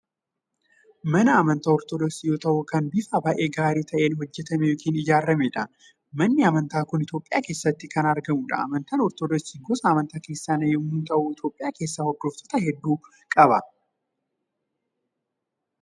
Mana amantaa Ortodooksii yoo ta’u kan bifa baay'ee gaarii ta'een hojjetame yookaan ijaaramedha. Manni amantaa kun Itoophiyaa keessatti kan argamudha. Amantaan Ortodooksii gosa amantaa kiristiyaanaa yommuu ta'u Itoophiyaa keessaa hordoftoota hedduu qaba.